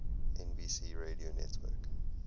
nbc radio network